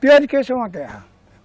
Pior que isso é uma guerra.